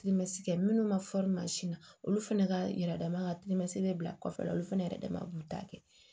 kɛ minnu ma mansin na olu fana ka yɛrɛma ka bɛ bila kɔfɛla olu fɛnɛ yɛrɛ dama b'u ta kɛ